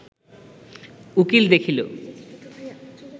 উকীল দেখিল